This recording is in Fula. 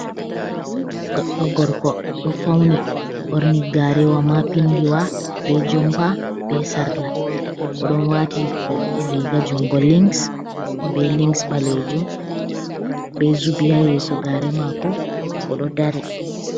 Goɗɗo gorko ɗo fauni ɓorni garewa ma pindiwa, be jomba be sarla. Oɗo wati riga jungo lings be lings ɓalejum be zubi ha yeso gare mako oɗo dari.